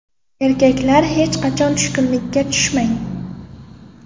Erkaklar, hech qachon tushkunlikka tushmang!